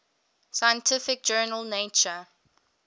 scientific journal nature